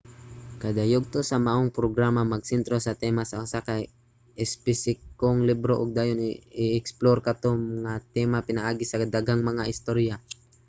kada yugto sa maong programa magsentro sa tema sa usa ka espesipikong libro ug dayon i-eksplor kato nga tema pinaagi sa daghang mga istorya